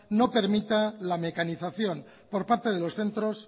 no permita la mecanización por parte de los centros